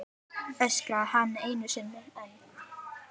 öskraði hann einu sinni enn.